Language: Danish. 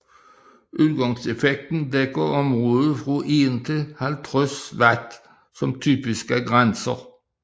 Udgangseffekten dækker området fra 1 til 50 W som typiske grænser